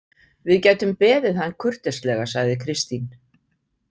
Við gætum beðið hann kurteislega, sagði Kristín.